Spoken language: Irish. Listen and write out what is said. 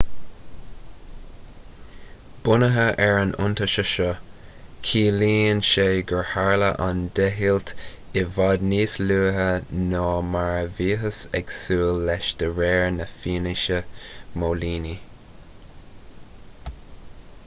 bunaithe ar an iontaise seo ciallaíonn sé gur tharla an deighilt i bhfad níos luaithe ná mar a bhíothas ag súil leis de réir na fianaise móilíní